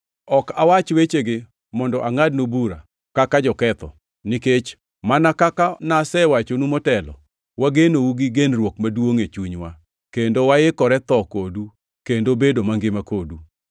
Ok awach wechegi mondo angʼadnu bura kaka joketho, nikech mana kaka nasewachonu motelo, wagenou gi genruok maduongʼ e chunywa, kendo waikore tho kodu kendo bedo mangima kodu.